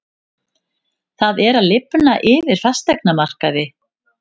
Það er að lifna yfir fasteignamarkaði